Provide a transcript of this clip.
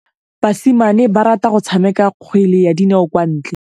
Basimane ba rata go tshameka kgwele ya dinaô kwa ntle.